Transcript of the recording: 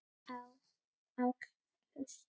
á, áll, hlust